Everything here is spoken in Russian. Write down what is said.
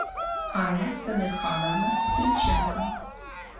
анна самирхановна сильченко